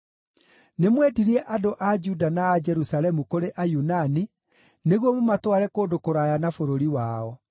Nĩmwendirie andũ a Juda na a Jerusalemu kũrĩ Ayunani nĩguo mũmatware kũndũ kũraya na bũrũri wao.